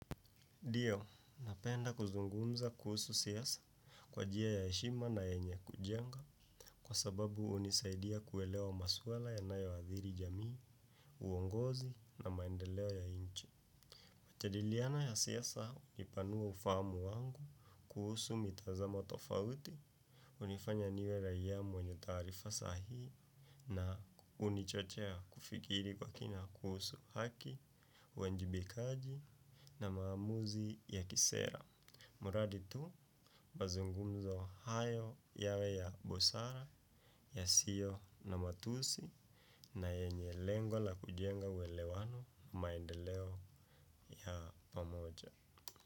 Ndio, napenda kuzungumza kuhusu siasa kwa njia ya heshima na yenye kujenga kwa sababu hunisaidia kuelewa maswala yanayoathiri jamii, uongozi na maendeleo ya nchi. Majadiliana ya siasa hunipanua ufahamu wangu kuhusu mitazamo tofauti. Hunifanya niwe raia mwenye taarifa sahihi na hunichochea kufikiri kwa kina kuhusu haki, uwajibikaji na maamuzi ya kisera. Mradi tu mazungumzo hayo yawe ya busara, yasiyo na matusi na yenye lengo la kujenga uelewano maendeleo ya pamoja.